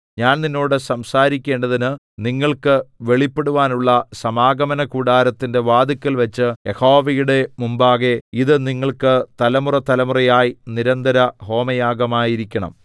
ഞാൻ നിന്നോട് സംസാരിക്കേണ്ടതിന് നിങ്ങൾക്ക് വെളിപ്പെടുവാനുള്ള സമാഗമനകൂടാരത്തിന്റെ വാതിൽക്കൽവച്ച് യഹോവയുടെ മുമ്പാകെ ഇത് നിങ്ങൾക്ക് തലമുറതലമുറയായി നിരന്തരഹോമയാഗമായിരിക്കണം